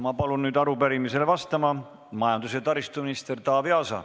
Ma palun nüüd arupärimisele vastama majandus- ja taristuminister Taavi Aasa.